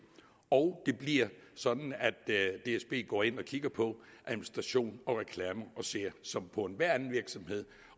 og det bliver sådan at dsb går ind og kigger på administration og reklame og ser som på enhver anden virksomhed